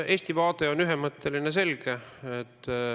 Eesti vaade on ühemõtteline, selge.